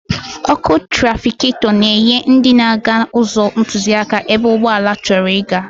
Ọ́kụ́ trafịketọ na-enye ndị na-aga ụzọ ntụziaka ebe ụgbọala chọrọ ịga.